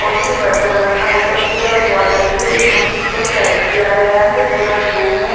और जो बर्तन रखा ऊपर की तरफ वोटल से इस मशीन को सेट किया गया है पूरा रूम है।